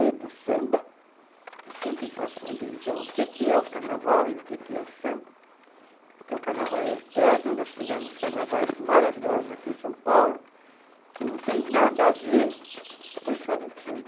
e do samba, que eu sempre faço uma divisão, o que que é o carnaval e o que que é o samba, porque o carnaval é eterno, nós tivemos carnavais maravilhosos aqui em São Paulo, que não tem nada a ver com escola de samba.